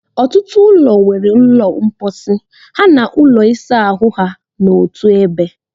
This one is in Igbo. Ọtụtụ ụlọ nwere ụlọ mposi ha na ụlọ ịsa ahụ ha n'otu ebe.